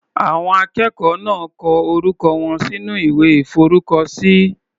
Àwọn akẹ́kọ̀ọ́ náà kọ orúkọ wọn sínú ìwé ìforúkọ sí.